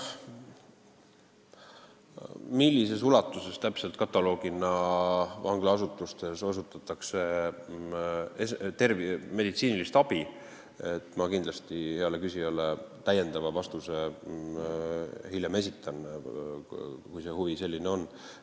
Millises ulatuses täpselt vanglaasutustes meditsiinilist abi osutatakse, selle vastuse esitan ma kindlasti heale küsijale hiljem, kui selline huvi on.